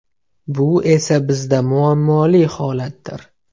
Bu esa bizda muammoli holatdir.